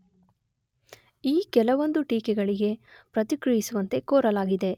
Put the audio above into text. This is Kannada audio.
ಈ ಕೆಲವೊಂದು ಟೀಕೆಗಳಿಗೆ ಪ್ರತಿಕ್ರಿಯಿಸುವಂತೆ ಕೋರಲಾಗಿದೆ